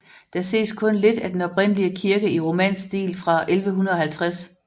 Der ses kun lidt af den oprindelige kirke i romansk stil fra 1150